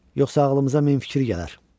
Yoxsa ağlımıza min fikir gələr.